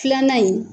Filanan in